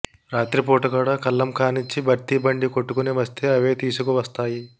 రాత్రిపూట కూడా కల్లం కాన్నించి బర్తీ బండి కొట్టుకొని వస్తే అవే తీసికవస్తాయి